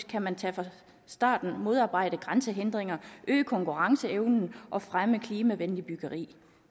kan man fra starten modarbejde grænsehindringer øge konkurrenceevnen og fremme klimavenligt byggeri